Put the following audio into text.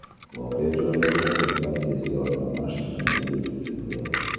Voqea joyiga ko‘plab tez yordam mashinalari yetib keldi.